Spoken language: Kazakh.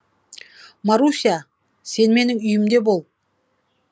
маруся сен менің үйімде бол